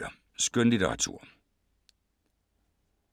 Skønlitteratur